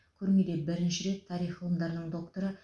көрмеде бірінші рет тарих ғылымдарының докторы